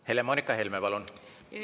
Helle-Moonika Helme, palun!